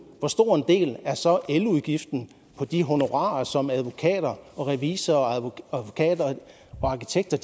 hvor stor en del er så eludgiften i de honorarer som advokater og revisorer og arkitekter